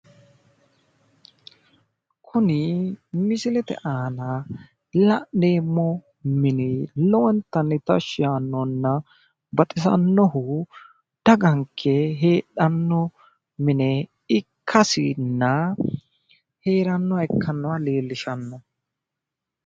Kuni misilete aana la'neemmo mini lowontanni tashshi yaannohunna baxisannohu daganke heedhanno mine ikkasinna heerannoha ikkasi leellishshanno.